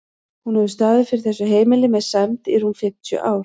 Hún hefur staðið fyrir þessu heimili með sæmd í rúm fimmtíu ár.